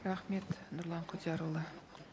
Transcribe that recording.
рахмет нұрлан құдиярұлы